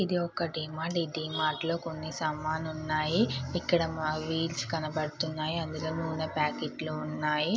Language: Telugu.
ఇది ఒక డిమార్ట్ . డిమార్ట్ లోని కొన్ని సామాన్లు ఉన్నాయి. ఇక్కడ వీల్స్ కనబడుతున్నాయి. ఇందులోని నూనె ప్యాకెట్ లు ఉన్నాయి.